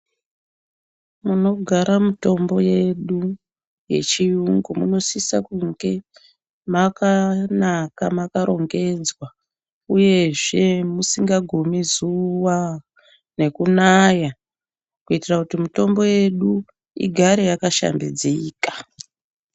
Munogara mutombo yechiyungu munosisa kunge makanaka makarongedzwa uyezve musi ngagumi zuwa nekunaya kuitira kuti mutombo yedu igare yakashambidzika.